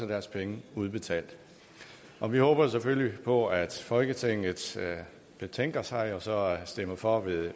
deres penge udbetalt og vi håber selvfølgelig på at folketinget betænker sig og stemmer for